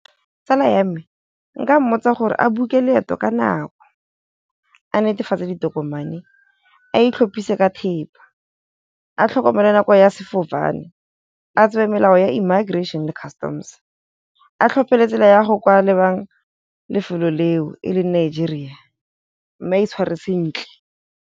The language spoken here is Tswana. Tsala ya me nka mmotsa gore a book-e leeto ka nako, a netefatse ditokomane, a itlhophise ka thepa, a tlhokomelo nako ya sefofane, a tsebe melao ya immigration le customs, a tlhophe le tsela ya go kwa lebang lefelo leo e leng Nigeria, mme a itshware sentle.